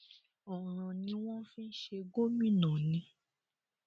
ọràn ni wọn fi ń ṣe gómìnà ni